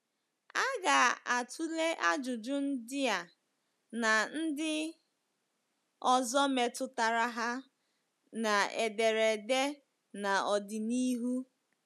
A ga-atụle ajụjụ ndị a na ndị ọzọ metụtara ha n’ederede n'ọdịnihu.